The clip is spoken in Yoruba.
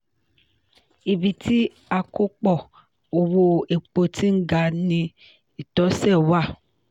ibi tí àkópọ̀ owó epo ti ń ga ni ìtọsẹ̀ wà.